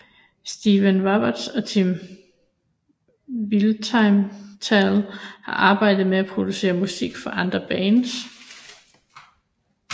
Stephen Roberts og Tim Winstall har arbejdet med at producere musik for andre bands